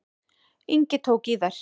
Ingi tók í þær.